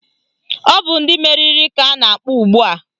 Ọ bụ ndị meriri ka ọ na-akpọ ugbua